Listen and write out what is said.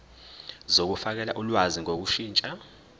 zokufakela ulwazi ngokushintsha